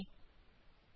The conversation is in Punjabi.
ਸਤ ਸ਼੍ਰੀ ਅਕਾਲ